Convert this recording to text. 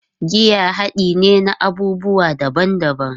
Giya hade ne na abubuwa daban-daban